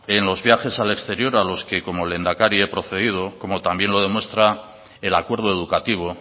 en los viajes al exterior a los que como lehendakari he procedido como también lo demuestra el acuerdo educativo